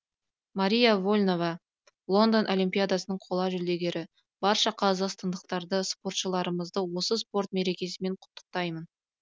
марина вольнова лондон олимпиадасының қола жүлдегері барша қазақстандықтарды спортшыларымызды осы спорт мерекесімен құттықтаймын